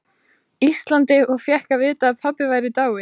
Íslandi og fékk að vita að pabbi væri dáinn.